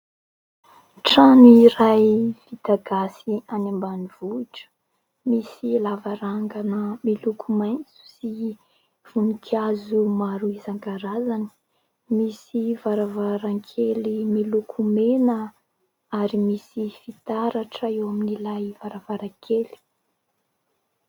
Trano iray vita gasy any ambanivohitra : misy lavarangana miloko maitso sy voninkazo maro isankarazany, misy varavarankely miloko mena ary misy fitaratra eo amin'ilay varavarankely.